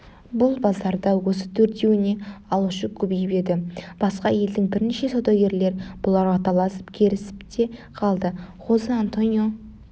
бұл базарда осы төртеуіне алушы көбейіп еді басқа елдің бірнеше саудагерлер бұларға таласып керісіп те қалды хозе-антонио